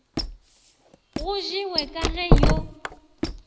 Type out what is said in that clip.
go jewe ka ge yo